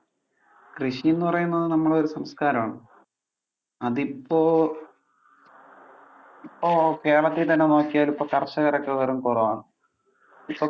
കൃഷിന്ന് പറയുമ്പോൾ നമ്മുടെ ഒരു സംസ്കാരം ആണ്. അത് ഇപ്പൊ, ഇപ്പൊ കേരളത്തിൽ തന്നെ നോക്കിയാൽ ഇപ്പോ കർഷകർ ഒക്കെ വെറും കുറവാണ്. ഇപ്പൊ